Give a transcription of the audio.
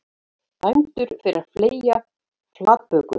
Dæmdur fyrir að fleygja flatböku